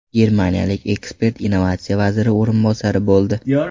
Germaniyalik ekspert innovatsiya vaziri o‘rinbosari bo‘ldi.